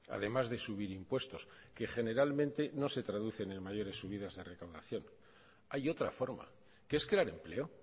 además de subir impuestos que generalmente no se traducen en mayores subidas de recaudación hay otra forma que es crear empleo